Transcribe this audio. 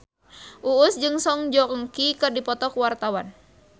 Uus jeung Song Joong Ki keur dipoto ku wartawan